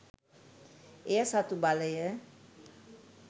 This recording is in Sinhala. එය සතු බලය